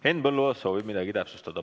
Henn Põlluaas soovib midagi täpsustada.